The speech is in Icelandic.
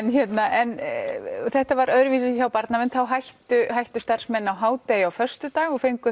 en þetta var öðruvísi hjá Barnavernd þá hættu hættu starfsmenn á hádegi á föstudag og fengu